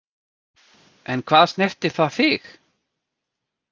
En hvað snertir það þig?